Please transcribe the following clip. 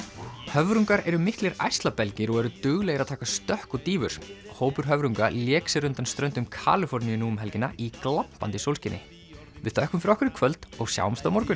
höfrungar eru miklir ærslabelgir og eru duglegir að taka stökk og dýfur hópur höfrunga lék sér undan ströndum Kaliforníu nú um helgina í glampandi sólskini við þökkum fyrir okkur í kvöld og sjáumst á morgun